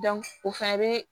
o fɛnɛ bɛ